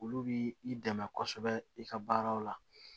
Olu bi i dɛmɛ kosɛbɛ i ka baaraw la